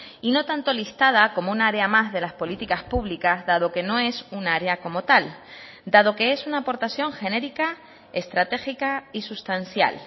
y no tanto listada como un área más de las políticas públicas dado que no es un área como tal dado que es una aportación genérica estratégica y sustancial